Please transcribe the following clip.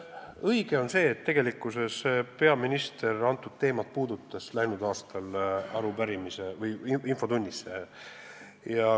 Õige on see, et peaminister puudutas seda teemat läinud aastal infotunnis.